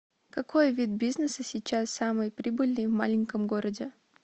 какой вид бизнеса сейчас самый прибыльный в маленьком городе